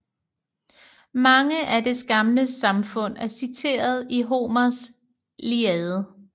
Mange af dets gamle samfund er citeret i Homers Iliade